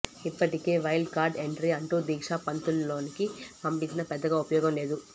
ఇప్పటికే wild card entry అంటూ దీక్షా పంత్ను లోనికి పంపించినా పెద్దగా ఉపయోగం లేదు